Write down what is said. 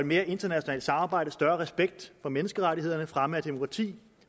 mere internationalt samarbejde større respekt for menneskerettighederne fremme af demokrati